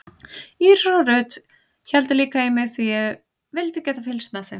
Íris og Ruth héldu líka í mig því ég vildi geta fylgst með þeim.